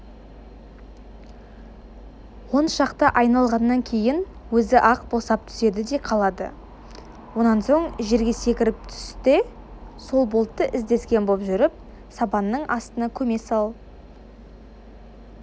он шақты айналғаннан кейін өзі-ақ босап түседі де қалады онан соң жерге секіріп түс те сол болтты іздескен боп жүріп сабанның астына көме сал